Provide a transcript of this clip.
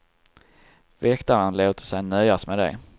Väktaren låter sig nöjas med det.